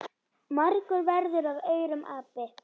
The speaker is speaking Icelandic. Margur verður af aurum api.